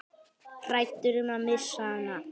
Hræddur um að missa hana.